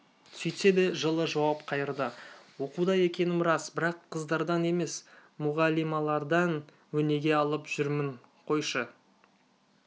сөйтсе де жылы жауап қайырды оқуда екенім рас бірақ қыздардан емес мұғалималардан өнеге алып жүрмін қойшы